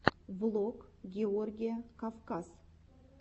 влог георгия кавказ